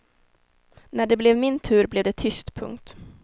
När det blev min tur blev det tyst. punkt